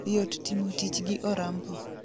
Yot timo tich gi Orampo